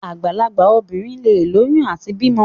Àgbàlagbà obìnrin leè lóyún àti bímọ.